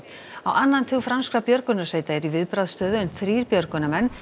á annan tug franskra björgunarsveita eru í viðbragðsstöðu en þrír björgunarmenn